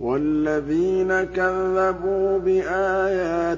وَالَّذِينَ كَذَّبُوا بِآيَاتِنَا